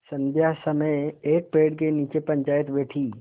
संध्या समय एक पेड़ के नीचे पंचायत बैठी